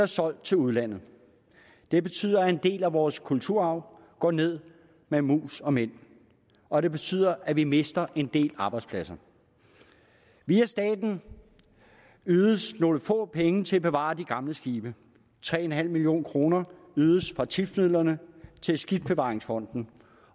solgt til udlandet det betyder at en del af vores kulturarv går ned med mus og mænd og det betyder at vi mister en del arbejdspladser via staten ydes nogle få penge til at bevare de gamle skibe tre million kroner ydes fra tipsmidlerne til skibsbevaringsfonden